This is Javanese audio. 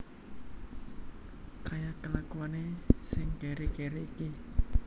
Kaya kelakuane sing keri keri iki